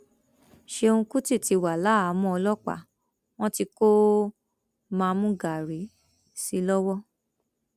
ṣéun kùtì ti wà láhàámọ ọlọpàá wọn tí kò mamúgaàrí sí i lọwọ